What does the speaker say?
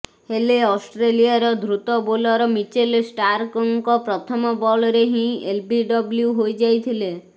ହେଲେ ଅଷ୍ଟ୍ରେଲିଆର ଦ୍ରୁତ ବୋଲର ମିଚେଲ ଷ୍ଟାର୍କଙ୍କ ପ୍ରଥମ ବଲରେ ହିଁ ଏଲବିଡବ୍ଲ୍ୟୁ ହୋଇଯାଇଥିଲେ